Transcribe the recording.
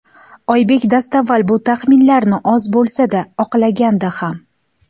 Oybek dastavval bu taxminlarni oz bo‘lsa-da oqlagandi ham.